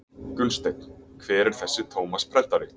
Gunnsteinn:- Hver er þessi Tómas prentari?